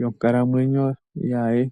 yonkalamwenyo ye.